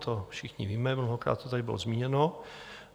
To všichni víme, mnohokrát to tady bylo zmíněno.